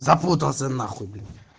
запутался нахуй блять